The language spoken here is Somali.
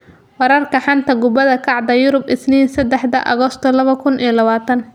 Wararka xanta kubada cagta Yurub Isniin sedexda Agosto laba kuun iyo labataan: Carlos, Aubameyang, Magalhaes, Deeney, Origi